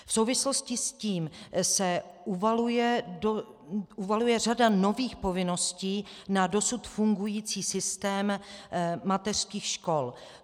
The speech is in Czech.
V souvislosti s tím se uvaluje řada nových povinností na dosud fungující systém mateřských škol.